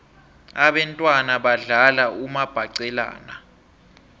abentwana badlala umabhaqelana